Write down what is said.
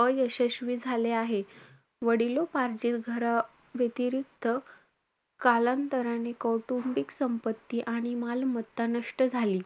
अयशस्वी झाले आहे. वडिलोपार्जित घराव्यतिरिक्त कालांतराने कौटुंबिक संपत्ती आणि मालमत्ता नष्ट झाली.